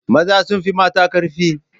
Maza sun fi mata karfi.